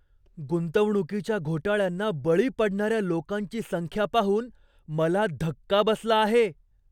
गुंतवणुकीच्या घोटाळ्यांना बळी पडणाऱ्या लोकांची संख्या पाहून मला धक्का बसला आहे.